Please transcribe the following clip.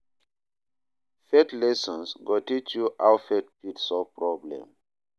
Faith lessons go teach you how faith fit solve problem